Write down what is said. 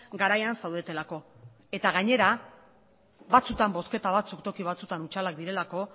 garaian zaudetelako eta gainera batzuetan bozketa batzuk toki batzuetan hutsalak direlako